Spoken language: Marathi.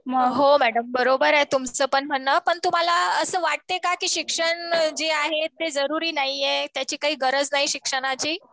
हो मॅडम बरोबर आहे तुमचं पण म्हणणं. पण तुम्हाला असं वाटतंय का कि शिक्षण जे आहे ते जरुरी नाहीये. त्याची काही गरज नाहीये शिक्षणाची.